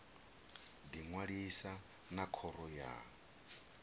ḓi ṅwalisa na khoro ya